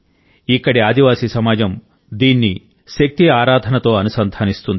ఇక్కడి ఆదివాసీ సమాజం దీన్ని శక్తి ఆరాధనతో అనుసంధానిస్తుంది